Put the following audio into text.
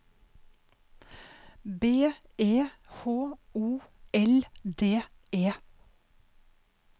B E H O L D E